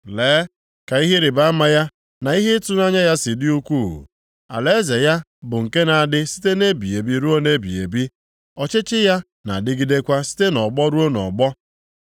Lee ka ihe ịrịbama ya, na ihe ịtụnanya ya si dị ukwuu! Alaeze ya bụ nke na-adị site ebighị ebi ruo ebighị ebi; ọchịchị ya na-adịgidekwa site nʼọgbọ ruo nʼọgbọ.